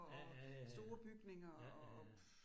Ja ja ja ja ja. Ja ja ja